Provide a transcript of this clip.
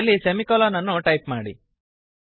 ಕೊನೆಯಲ್ಲಿ ಸೆಮಿಕೊಲನ್ ಅನ್ನು ಟೈಪ್ ಮಾಡಿ